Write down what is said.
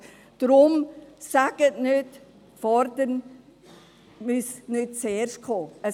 Deshalb sagen Sie nicht, «fordern» müsse nicht zuerst kommen.